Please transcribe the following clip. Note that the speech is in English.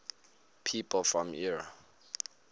people from eure